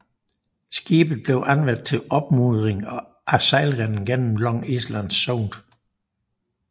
Skibet blev anvendt til opmudring af sejlrenden gennem Long Island Sound